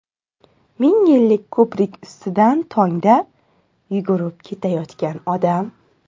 Mingyillik ko‘prik ustidan tongda yugurib ketayotgan odam.